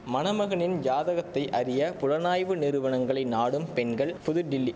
மணமகனின் ஜாதகத்தை அறிய புலனாய்வு நிறுவனங்களை நாடும் பெண்கள் புதுடில்லி